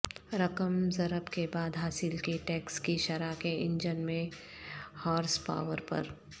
رقم ضرب کے بعد حاصل کی ٹیکس کی شرح کے انجن میں ہارس پاور پر